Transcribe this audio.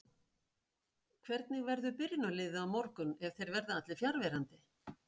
Hvernig verður byrjunarliðið á morgun ef þeir verða allir fjarverandi?